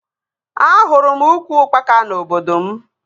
Ahụrụ m ukwu ukpaka na obodo m